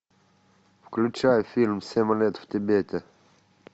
включай фильм семь лет в тибете